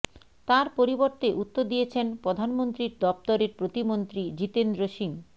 তাঁর পরিবর্তে উত্তর দিয়েছেন প্রধানমন্ত্রীর দফতরের প্রতিমন্ত্রী জিতেন্দ্র সিং